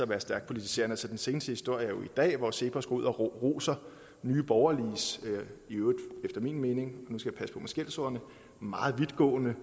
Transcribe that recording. være stærkt politiserende den seneste historie i dag hvor cepos går ud og roser nye borgerliges efter min mening nu skal jeg passe på med skældsordene meget vidtgående